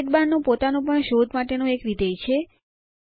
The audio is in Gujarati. સાઇડબારનું પોતાનું પણ શોધ માટેનું એક વિધેય છે